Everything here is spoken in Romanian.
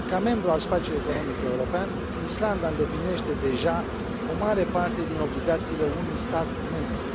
Ca membru al spațiului economic european, Islanda îndeplinește deja o mare parte din obligațiile unui stat membru.